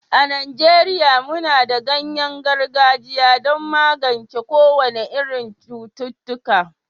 a Najeriya muna da ganyen gargajiya don magance kowane irin cututtuka